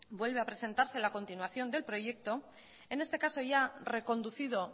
vuelve a presentarse la continuación del proyecto en este caso ya reconducido